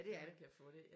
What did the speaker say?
Ja det er det